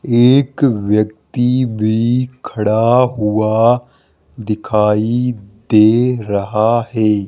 एक व्यक्ति भी खड़ा हुआ दिखाई दे रहा है।